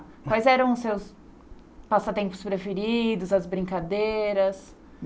Quais eram os seus passatempos preferidos, as brincadeiras?